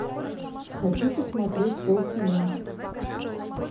хочу посмотреть пол кино